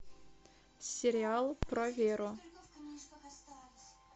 сериал про веру